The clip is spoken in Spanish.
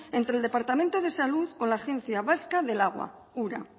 entre el departamento de salud con la agencia vasca del agua ura